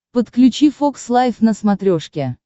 подключи фокс лайв на смотрешке